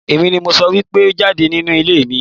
Èmi ni mo sọ wípé jáde nínú ilé mi!